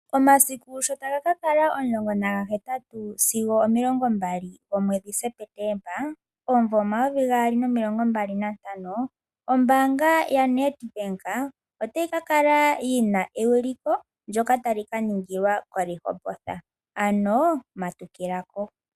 Omasiku sho taga ka kala omulongo nagahetatu sigo omilongo mbali gomweedhi Sepetemba, omumvo omayovi gaali nomilongo mbali na ntano. Ombaanga ya NedBank otayi ka kala yina eyuliko ndoka tali ka ningilwa ko Rehoboth, ano matukila ko.